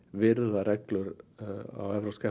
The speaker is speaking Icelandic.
virða reglur á evrópska